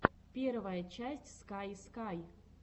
первая часть скай скай